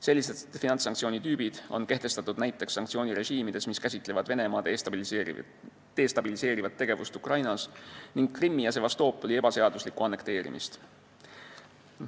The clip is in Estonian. Sellist tüüpi finantssanktsioonid on kehtestatud näiteks sanktsioonirežiimides, mis on ajendatud Venemaa destabiliseerivast tegevusest Ukrainas ning Krimmi ja Sevastopoli ebaseaduslikust annekteerimisest.